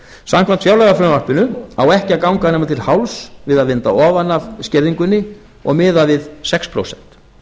samkvæmt fjárlagafrumvarpinu á ekki að ganga nema til hálfs við að vinda ofan af skerðingunni og miða við sex prósent